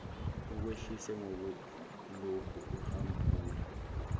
ukwehlise ngokulokhu uhabula